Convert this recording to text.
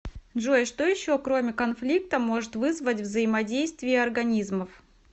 джой что еще кроме конфликта может вызвать взаимодействие организмов